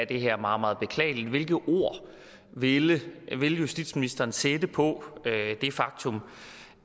det her meget meget beklageligt hvilket ord vil justitsministeren sætte på det faktum